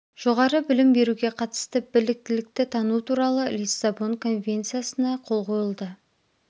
жоғары білім беруге қатысты біліктілікті тану туралы лиссабон конвенциясына қол қойылды